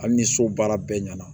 Hali ni so baara bɛɛ ɲɛna